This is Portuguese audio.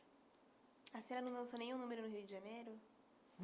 A senhora não dançou nenhum número no Rio de Janeiro?